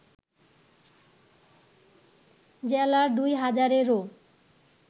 জেলার দুই হাজারেরও